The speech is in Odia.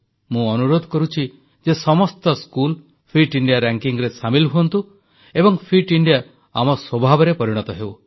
ମୁଁ ଅନୁରୋଧ କରୁଛି ଯେ ସମସ୍ତ ସ୍କୁଲ ଫିଟ ଇଣ୍ଡିଆରେ ସାମିଲ ହୁଅନ୍ତୁ ଏବଂ ଫିଟ ଇଣ୍ଡିଆ ଆମ ସ୍ୱଭାବରେ ପରିଣତ ହେଉ